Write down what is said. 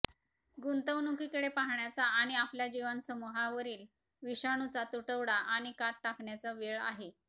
गुंतवणुकीकडे पाहण्याचा आणि आपल्या जीवनसमूहांवरील विषाणूचा तुटवडा आणि कात टाकण्याचा वेळ आहे